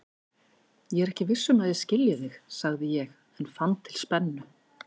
Ég er ekki viss um að ég skilji þig, sagði ég en fann til spennu.